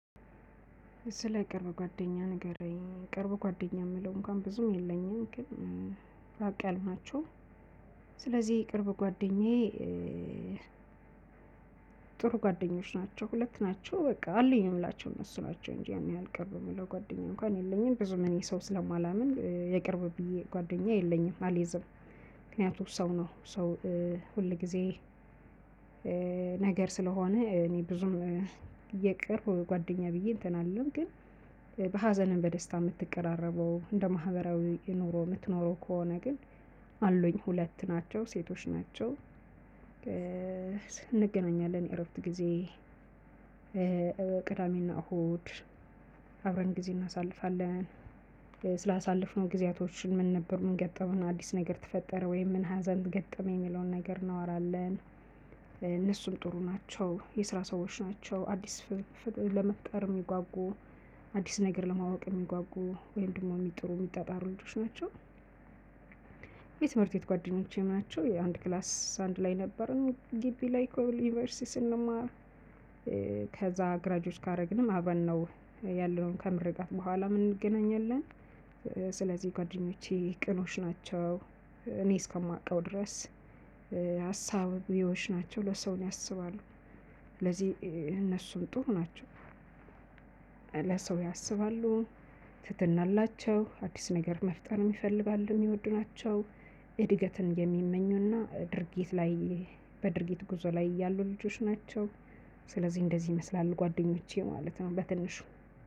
ስለ ቅርብ ጓደኛ ንገረኝ ቅርብ ጓደኛ የምለው እንኳን ብዙም የለኝም ግን ራቅ ያሉ ናቸው። ስለዚህ የቅርብ ጓደኛዬ። ጥሩ ጓደኞች ናቸው ሁለት ናቸው በቃ አለኝ ምላቸው እነሱ ናቸው እንጂ ያን ያህል ቅርብ የምለው ጓደኛዬ እንኳን የለኝም ብዙም እኔ ሰው ስለማላምን የቅርብ ብዬ ጓደኛዬ የለኝም አልይዝም። ምክንያቱም ሰው ነው ሰው ሁል ጊዜ። ነገር ስለሆነ እኔ ብዙም የቅርብ ጓደኛ ብዬ እንትን አልልም። ግን በሀዘንም በደስታ የምትቀራረበው እንደ ማህበራዊ ኑሮ የምትኖረው ከሆነ ግን አሉኝ ሁለት ናቸው ሴቶች ናቸው። እንገናኛለን እረፍት ጊዜ ቅዳሜና እሁድ አብረን ጊዜ እናሳልፋለን ስላሳለፍነው ጊዜያቶችን ምን ነበር ምን ገጠመን አዲስ ነገር ተፈጠረ ወይም ምን ሀዘን ተገጠመን የሚለውን ነገር እናወራለን። እነሱም ጥሩ ናቸው የስራ ሰዎች ናቸው አዲስ ለመፍጠር የሚጓጉ አዲስ ነገር ለማወቅ የሚጓጉ ወይም ደግሞ የሚጥሩ የሚጣጣሩ ልጆች ናቸው። የትምህርት ቤት ጓደኞቼ ናቸው አንድ ክላስ አንድ ላይ ነበርን ግቢ ላይ ኮብል ዩኒቨርሲቲ ስንማር። ግራጆች ካደረግንም አብረን ነው ያለነውን ከምርቃት በኋላ ምን እንገናኛለን። ስለዚህ ጓደኞቼ ቅኖች ናቸው እኔ እስከማውቀው ድረስ ሀሳብ ቢሆን ናቸው ለሰው ያሰባሉ ስለዚህ እነሱም ጥሩ ናቸው። ለሰው ያስባሉ ትሕትና አላቸው አዲስ ነገርም መፍጠር ይፈልጋሉ የሚወዱ ናቸው። እድገትን የሚመኙና ድርጊት ላይ በድርጊት ጉዞ ላይ ያሉ ልጆች ናቸው። ስለዚህ እንደዚህ ይመስላል ጓደኞቼ ማለት ነው። በትንሹ